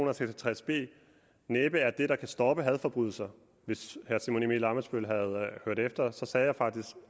og seks og tres b næppe er det der kan stoppe hadforbrydelser hvis herre simon emil ammitzbøll havde hørt efter så sagde jeg faktisk